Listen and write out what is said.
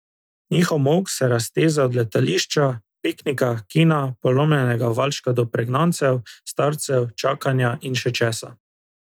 Njihov molk se razteza od letališča, piknika, kina, polomljenega valčka do pregnancev, starcev, čakanja in še česa.